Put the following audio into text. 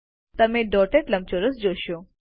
તમે ડોટેડ લંબચોરસ જોશો